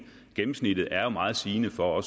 gennemsnittet er jo meget sigende for